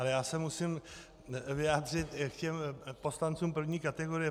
Ale já se musím vyjádřit k těm poslancům první kategorie.